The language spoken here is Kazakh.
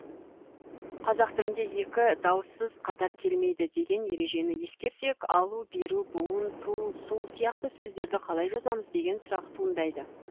қазақ тілінде екі дауыссыз қатар келмейді деген ережені ескерсек алу беру буын ту су сияқты сөздерді қалай жазамыз деген сұрақ туындайды